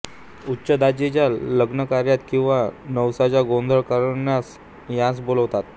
उच्च जातीच्या लग्नाकार्यांत किंवा नवसाचा गोंधळ करण्यास यांस बोलावतात